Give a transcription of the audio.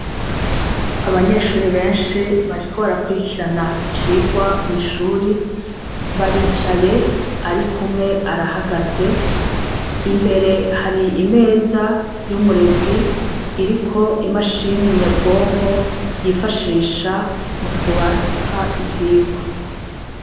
Abanyeshuri beshi bariko barakwirikirana icirwa mw'ishuri baricaye ariko umwe arahagaze imbere hari imeza y'umurezi iriko imashine nyabwonko yifashisha mu kubaha ivyirwa.